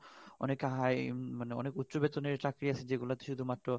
অনেক high বা অনেক উচ্চ বেতনের চাকরি আছে যে গুলাতে শুধু মাত্র